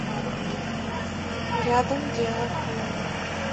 рядом дело в хлебе